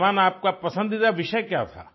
उस्मान आपका पसंदीदा विषय क्या था